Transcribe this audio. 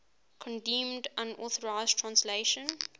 condemned unauthorized translations